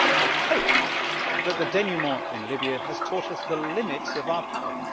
I hope that the denouement in Libya has taught us the limits of our power.